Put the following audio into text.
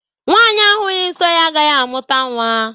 Nwanyi ahughi nsọ ya agaghị amụta nwa